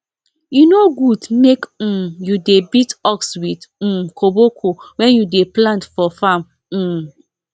e no good make um you dey beat ox with um koboko wen you dey plant for farm um